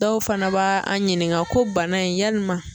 Dɔw fana b'a an ɲininka ko bana in yalima